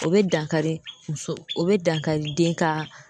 O be dankari muso o be dankari den ka